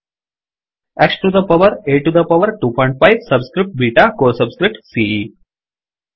X to the power A to the power 25 subscript beta CO subscript CE